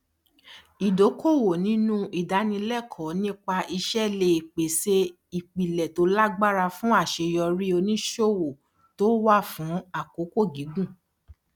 ìdókòwò nínú ìdánilékòó nípa iṣé lè pèsè ìpìlè tó lágbára fún àṣeyọrí oníṣòwò tó wà fún àkókò gígùn